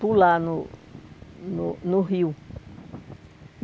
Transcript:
pular no no no rio.